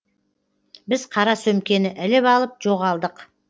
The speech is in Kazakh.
біз қара сөмкені іліп алып жоғалдық